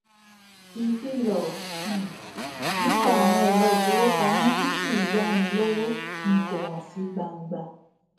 iìfilọ um nípa àwọn ẹrọ ìfowópamọ tí kìí yá ni lówó ni kò hàn sí gbangba